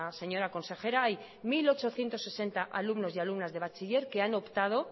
señora consejera hay mil ochocientos sesenta alumnos y alumnas de bachiller que han optado